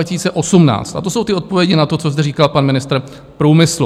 A to jsou ty odpovědi na to, co zde říkal pan ministr průmyslu.